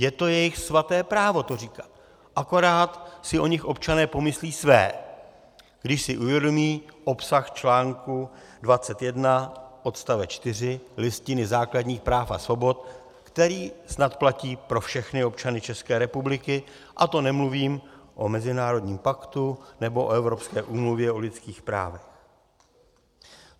Je to jejich svaté právo to říkat, akorát si o nich občané pomyslí své, když si uvědomí obsah článku 21 odstavec 4 Listiny základních práv a svobod, který snad platí pro všechny občany České republiky, a to nemluvím o mezinárodním paktu nebo o Evropské úmluvě o lidských právech.